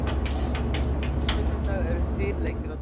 Á sunnudag eru þrír leikir á dagskrá.